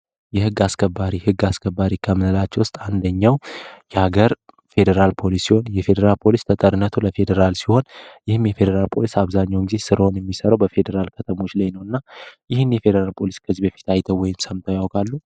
የግ አስከባሪ ግ አስከባሪ ውስጥ አንደኛው የሀገር ፌዴራል ፖሊሲው የፌዴራል ፖሊስ ለፌዴራል ሲሆን የሚፈልጉ አብዛኛው እንጂ ስራውን የሚሰሩ በፌዴራል ከተሞች ላይ ነውና ይህን የፌዴራል ፖሊስ በፊት አይተው ወይም ሰምተው ያውካሉ